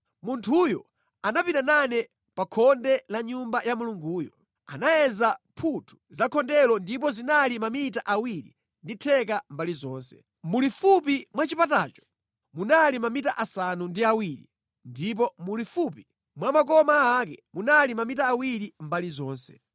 Munthuyo anapita nane pa khonde la Nyumba ya Mulunguyo. Anayeza mphuthu za khondelo ndipo zinali mamita awiri ndi theka mbali zonse. Mulifupi mwa chipatacho munali mamita asanu ndi awiri ndipo mulifupi mwa makoma ake munali mamita awiri mbali zonse.